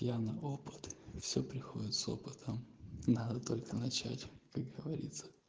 я на опыт все приходит с опытом надо только начать как говорится